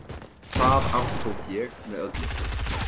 Það aftók ég með öllu.